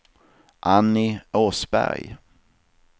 Annie Åsberg